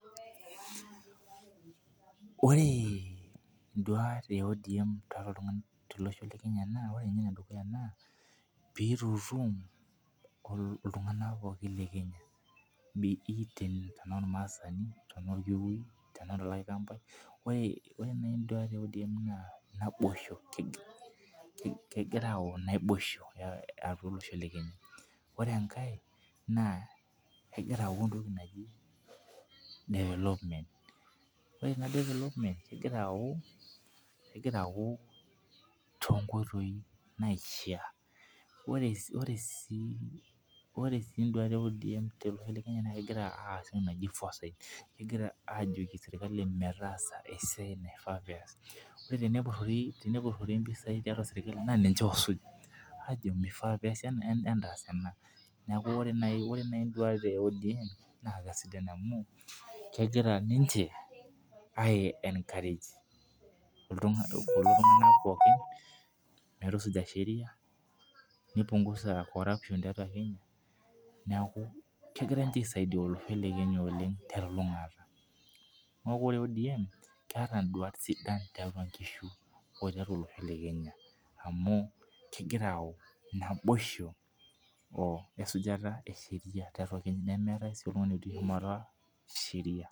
Oree induaat ee ODM toltunganak lolosho le Kenya naa oree ebae edukuya naa peitutum iltunganak pookin le Kenya tanaa olmaasani , tenaa olkikuyui tanaa olaikambai , ore naa induat ee ODM naa naboisho kegira ayau naboisho tiatua olosho le Kenya ,ore enkae naa kegira ayau entoki naaji development ore ina delevopment naa kegira ayau to inkoitoi naishia ore sii induat ee ODM tolosho le Kenya naa kegira aas entoki naaji foresights kegira ajooki serkali meetaasa esiai naifaa peas , tenepurori impisia tiatua serkali naa ninche osuuj aajo meifaa peesi ena entaas ena neeku ore naaji imduat e ODM naa kesidan amuu kegira ninchee aienkarej kulo tunganak pookin metusuja sheria neipungusa corruption tiatua Kenya neeku kegira ninche aisaidia olosho le Kenya oleng telulungata neeku ore ODM keeta induat sidan tiatua nkishu oo tiatua olosho le Kenya amuu kegira ayau naboisho wesujata esheria nemeetai sii oltungani otii shumata esheria.